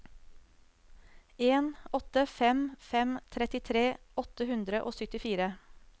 en åtte fem fem trettitre åtte hundre og syttifire